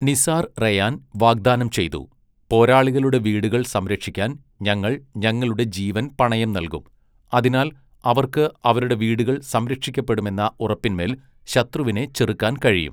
Nisar Rayan വാഗ്ദാനം ചെയ്തു, 'പോരാളികളുടെ വീടുകൾ സംരക്ഷിക്കാൻ ഞങ്ങൾ ഞങ്ങളുടെ ജീവൻ പണയം നൽകും, അതിനാൽ അവർക്ക് അവരുടെ വീടുകൾ സംരക്ഷിക്കപ്പെടുമെന്ന ഉറപ്പിൻമേൽ ശത്രുവിനെ ചെറുക്കാൻ കഴിയും.'